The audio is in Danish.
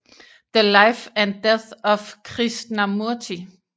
The life and death of Krishnamurti